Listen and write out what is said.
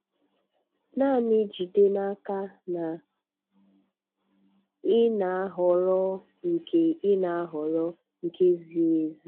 Naanị jide n'aka na ị na-ahọrọ nke ị na-ahọrọ nke ziri ezi!